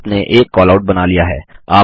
आपने एक कैलआउट बना लिया है